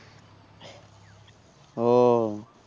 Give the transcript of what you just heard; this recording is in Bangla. ও